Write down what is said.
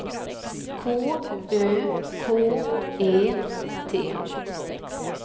K Ö K E T